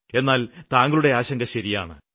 എന്നാല് താങ്കളുടെ ആശങ്ക ശരിയാണ്